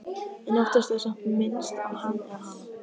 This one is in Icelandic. En oftast er samt minnst á Hann eða Hana.